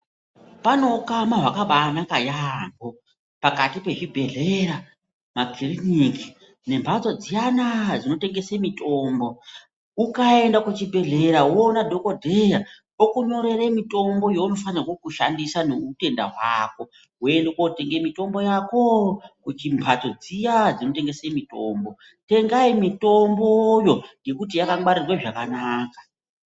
Pane hukama hwakabanaka yambo pakati pezvibhedhlera , makiriniki nembatso dziyana dzinotengese mitombo ,ukaenda kuchibhedhlera woona dhokodheya okunyorore mitombo yaunofane kushandisa neutenda hwako , woende kotenga mitombo yako kuchimbatso dziya dzinotengese mitombo. Tengai mitomboyo ngekuti yakangwarirwe zvakanaka.